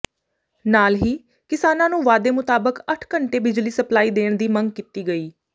ਨਾਲ ਹੀ ਕਿਸਾਨਾਂ ਨੂੰ ਵਾਅਦੇ ਮੁਤਾਬਕ ਅੱਠ ਘੰਟੇ ਬਿਜਲੀ ਸਪਲਾਈ ਦੇਣ ਦੀ ਮੰਗ ਕੀਤੀ ਗਈ